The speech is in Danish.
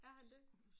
Er han det?